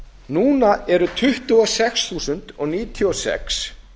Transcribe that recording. núna eru tuttugu og sex þúsund og níutíu og sex